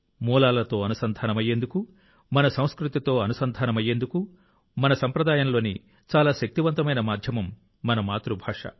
మూలాలతో అనుసంధానమయ్యేందుకు మన సంస్కృతితో అనుసంధానమయ్యేందుకు మన సంప్రదాయంలోని చాలా శక్తివంతమైన మాధ్యమం మన మాతృభాష